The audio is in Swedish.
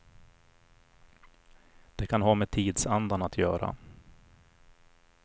Det kan ha med tidsandan att göra.